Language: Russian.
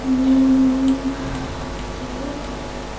так вот